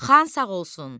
Xan sağ olsun.